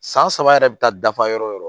San saba yɛrɛ bɛ taa dafa yɔrɔ o yɔrɔ